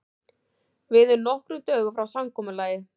Við erum nokkrum dögum frá samkomulagi.